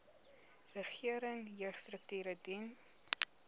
regering jeugstrukture dien